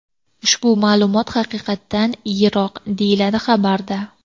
Ushbu ma’lumot haqiqatdan yiroq, deyiladi xabarda.